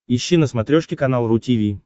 ищи на смотрешке канал ру ти ви